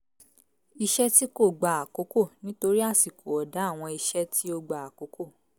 iṣẹ́ tí kò gba àkókò nítorí àsìkò ọ̀dá àwọn iṣẹ́ tí ó gba àkókò